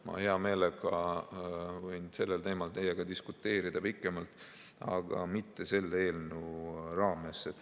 Ma hea meelega võin sellel teemal teiega diskuteerida pikemalt, aga mitte selle eelnõu raames.